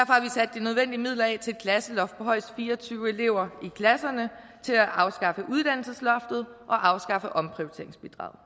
de nødvendige midler af til et klasseloft på højst fire og tyve elever i klasserne til at afskaffe uddannelsesloftet og afskaffe omprioriteringsbidraget